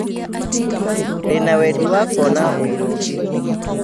Ndĩna wendi wa kũona wĩra ũngĩ